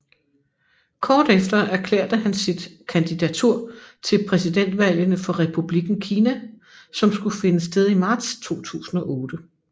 Kort efter erklærte han sit kandidatur til præsidentvalgene for Republikken Kina som skulle finde sted i marts 2008